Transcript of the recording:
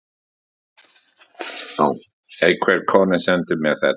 Einhver kona sendi mér þetta.